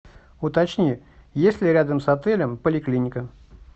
уточни есть ли рядом с отелем поликлиника